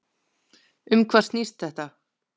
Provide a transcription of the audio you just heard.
Um hvað snýst þetta?